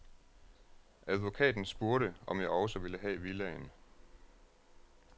Advokaten spurgte, om jeg også ville have villaen.